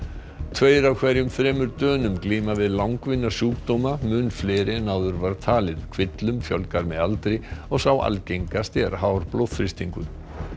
tveir af hverjum þremur Dönum glíma við langvinna sjúkdóma mun fleiri en áður var talið kvillum fjölgar með aldri og sá algengasti er hár blóðþrýstingur